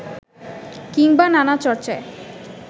কিংবা নানা চর্চায়